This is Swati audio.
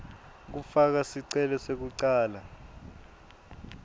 kufaka sicelo sekucala